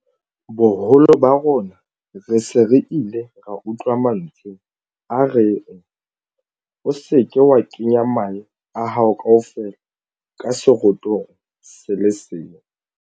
Boholo ba rona re se re ile ra utlwa mantswe a reng 'o se ke wa kenya mahe a hao kaofela ka serotong se le seng.